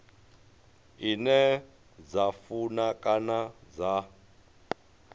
ine dza funa kana dza